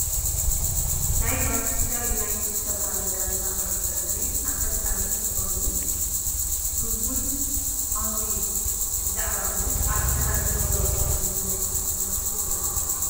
ናይ ማንችስተር ዩናይትድ ዝበሃል ጋንታ ኩዕሶ እግሪ ኣሰልጣኒ ዝኾኑ ሩብን ኣሞሪም ብዛዕባ ምስ አርሰናል ዝገብርዎ ፀወታ መግለፂ እንትህቡ ዘርኢ ምስሊ እዩ::